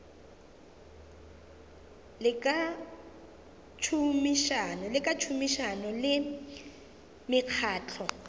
le ka tšhomišano le mekgatlo